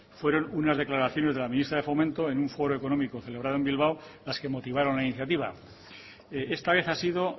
fueron una declaraciones de la ministra de fomento en un foro económico celebrado en bilbao las que motivaron la iniciativa esta vez ha sido